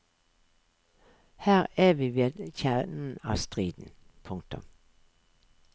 Her er vi ved kjernen av striden. punktum